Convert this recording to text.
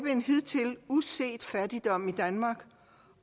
en hidtil uset fattigdom i danmark